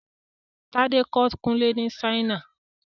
Tádé kọ́ Kùnlé ni Ṣáínà